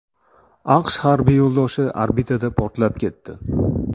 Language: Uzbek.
AQSh harbiy yo‘ldoshi orbitada portlab ketdi.